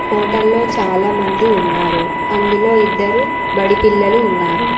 హోటల్లో చాలామంది ఉన్నారు అందులో ఇద్దరు బడి పిల్లలు ఉన్నారు.